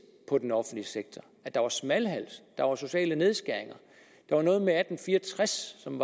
på den offentlige sektor at der var smalhals der var sociale nedskæringer der var noget med atten fire og tres som